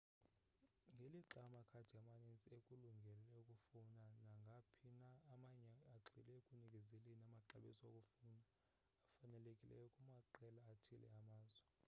ngelixa amakhadi amaninzi ekulungele ukufowna naphina amanye agxile ekunikezeleni amaxabiso okufowuna afanelekileyo kumaqela athile amazwe